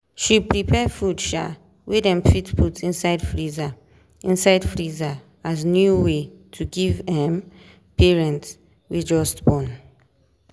she prepare food um wey dem fit put inside freezer inside freezer as new way to give um parents wey just born.